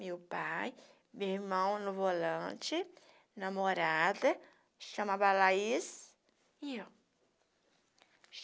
Meu pai, meu irmão no volante, namorada, chamava Laís, e eu.